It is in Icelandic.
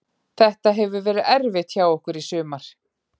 Þetta hefur verið erfitt hjá okkur í sumar.